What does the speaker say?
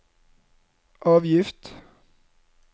avgift